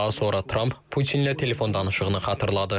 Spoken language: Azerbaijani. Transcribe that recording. Daha sonra Tramp Putinlə telefon danışığını xatırladı.